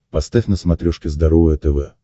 поставь на смотрешке здоровое тв